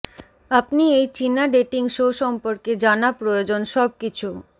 আপনি এই চীনা ডেটিং শো সম্পর্কে জানা প্রয়োজন সবকিছু